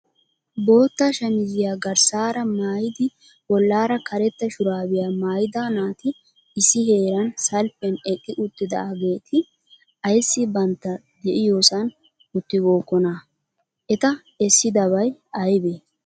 Bootta shammiziya garssaara maayidi bollaara karetta shurabiya maayida naati issi heeran salppiyan eqqi uttidaageeti aybbissi bantta de'iyoosan uttiibokkona? Eta essidabay aybbe?